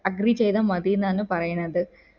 agree ചെയ്ത മതിന്നാണ് പറയുന്നത്